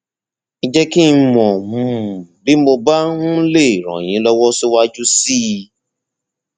ẹ jẹ kí n mọ um bí mo bá um lè ràn yín lọwọ síwájú sí i